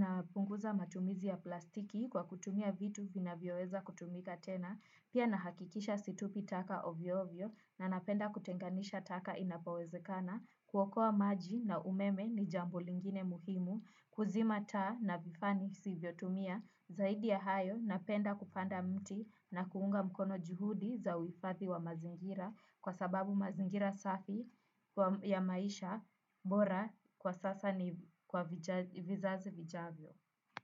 napunguza matumizi ya plastiki kwa kutumia vitu vina vyoweza kutumika tena. Pia nahakikisha situpi taka ovyo-ovyo na napenda kutenganisha taka inapowezekana. Kuokoa maji na umeme ni jambu lingine muhimu kuzima taa na vifani sivyo tumia zaidi ya hayo napenda kupanda miti na kuunga mkono juhudi za uhifadhi wa mazingira kwa sababu mazingira safi ya maisha bora kwa sasa ni kwa vizazi vijavyo.